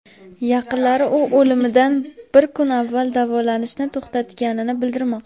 Yaqinlari u o‘limidan bir kun avval davolanishni to‘xtatganini bildirmoqda.